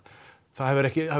það hefur